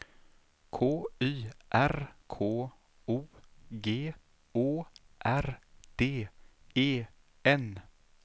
K Y R K O G Å R D E N